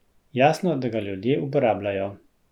Jasno, da ga ljudje uporabljajo.